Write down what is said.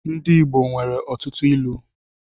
Ndị igbo nwere ọtụtụ ịlu